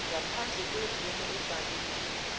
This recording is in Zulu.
ngaphandle kwemvume ebhaliwe